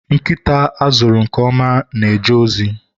Nkịta a zụrụ nke ọma na-eje ozi